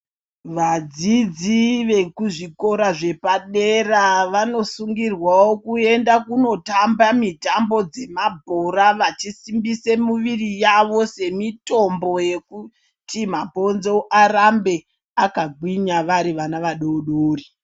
Vadzidzi vekuzvikora zvepadera vanosungirwawo kuenda kunotamba mitambo dzemabhora vachisimbise muviri yavo semitombo yekuti mabhonzo arambe akagwinya vari vana vadoodori.